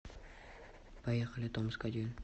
поехали томск один